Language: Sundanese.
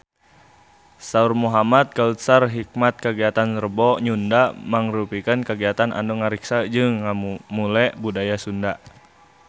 Saur Muhamad Kautsar Hikmat kagiatan Rebo Nyunda mangrupikeun kagiatan anu ngariksa jeung ngamumule budaya Sunda